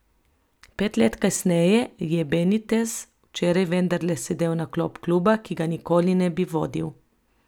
Pet let kasneje je Benitez včeraj vendarle sedel na klop kluba, ki ga nikoli ne bi vodil.